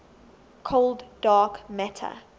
cold dark matter